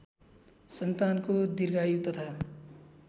सन्तानको दीर्घायु तथा